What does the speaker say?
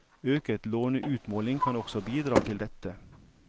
Øket låneutmåling kan også bidra til dette.